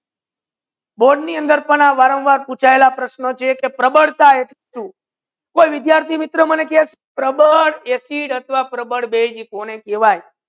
board ની અંદર પણ આ વરમ્વાર પૂછાયેલા પ્રશ્નો છે પ્રબળ acid સુ કોઈ વિદ્યાર્થિ મિત્રો મને કહે કે પ્રબળ એસિડ અથવા પ્રબળ બેઝ કોઈ કહેવયે